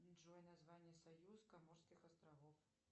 джой название союз коморских островов